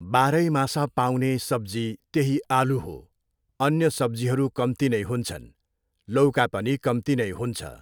बाह्रै मास पाउने सब्जी त्यही आलु हो, अन्य सब्जीहरू कम्ती नै हुन्छन्। लौका पनि कम्ती नै हुन्छ।